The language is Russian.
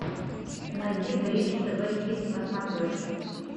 найди бридж тв хитс на смотрешке